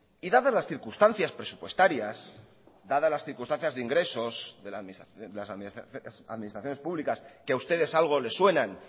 y dadas las circunstancias presupuestarias dadas las circunstancias de ingresos de las administraciones públicas que ha ustedes algo le suenan